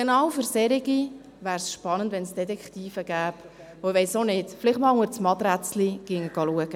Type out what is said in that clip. Genau für solche Fälle wäre es spannend, wenn es Detektive gäbe, die vielleicht einmal unter die Matratze schauen würden.